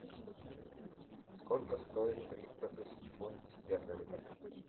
сколько стоит триста тысяч фунтов стерлингов